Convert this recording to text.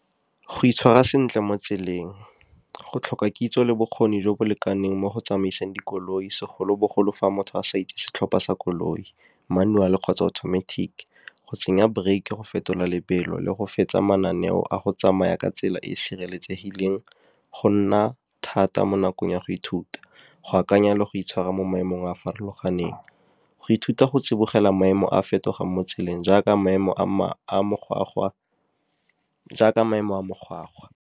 Go itshwara sentle mo tseleng, go tlhoka kitso le bokgoni jo bo lekaneng mo go tsamaiseng dikoloi, segolobogolo fa motho a sa itse setlhopha sa koloi, manual kgotsa automatic. Go tsenya brake-e, go fetola lebelo, le go fetsa mananeo a go tsamaya ka tsela e e sireletsegileng go nna thata mo nakong ya go ithuta. Go akanya le go itshwara mo maemong a a farologaneng, go ithuta go tsibogela maemo a fetogang mo tseleng jaaka maemo a .